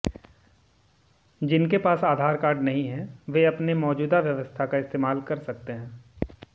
जिनके पास आधार कार्ड नहीं है वे अपने मौजूदा व्यवस्था का इस्तेमाल कर सकते हैं